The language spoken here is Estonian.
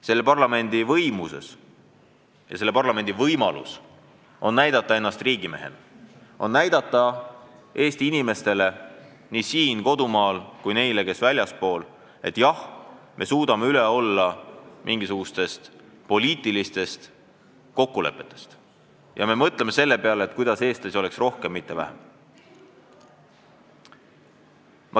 Selle parlamendi võimuses on näidata ennast riigimehena – näidata Eesti inimestele nii siin kodumaal kui ka neile, kes on väljaspool, et jah, me suudame üle olla mingisugustest poliitilistest kokkulepetest ja mõtleme selle peale, kuidas Eesti kodanikke oleks rohkem, mitte vähem.